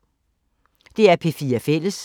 DR P4 Fælles